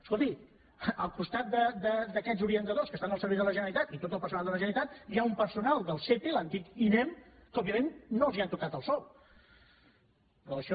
escolti al costat d’aquests orientadors que estan al servei de la generalitat i tot el personal de la generalitat hi ha un personal del sepe l’antic inem que òbviament no els han tocat el sou però això